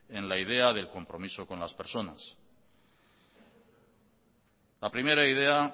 en la idea del compromiso con las personas la primera idea